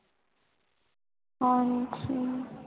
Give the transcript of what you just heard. ਆਹੋ ਜੀ